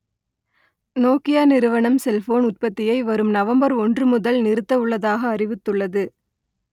Nokia நிறுவனம் cellphone உற்பத்தியை வரும் நவம்பர் ஒன்று முதல் நிறுத்த உள்ளதாக அறிவித்துள்ளது